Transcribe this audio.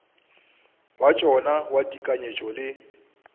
wa tšona wa tekanyetšo le